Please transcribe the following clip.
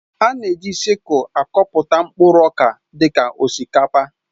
A na-eji sịkul akọpụta mkpụrụ ọka dị ka osikapa